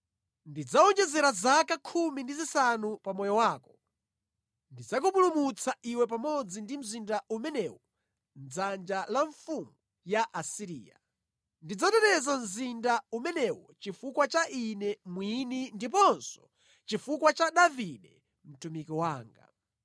Ndidzawonjezera zaka khumi ndi zisanu pa moyo wako. Ndidzakupulumutsa iwe pamodzi ndi mzinda umenewu mʼdzanja la mfumu ya ku Asiriya. Ndidzateteza mzinda umenewu chifukwa cha Ine mwini ndiponso chifukwa cha Davide mtumiki wanga.’ ”